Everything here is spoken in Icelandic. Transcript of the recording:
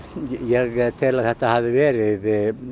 ég tel að þetta hafi verið